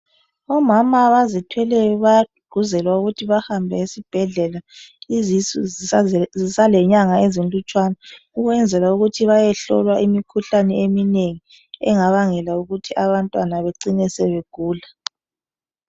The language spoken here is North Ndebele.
Omama abazithweleyo bayagqugquzelwa ukuthi bahambe esibhedlela izusu zisalenyanga ezilutshwane ukwenzela ukuthi bayehlolwa imikhuhlane eminengi engabangelwa ukuthi abantwana becine sebegula.